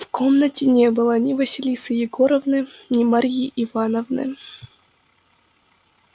в комнате не было ни василисы егоровны ни марьи ивановны